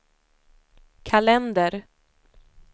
kalender